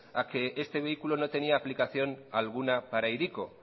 a que este vehículo no tenía aplicación alguna para hiriko